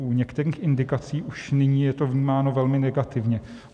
U některých indikací už nyní je to vnímáno velmi negativně.